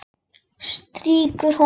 Strýkur honum.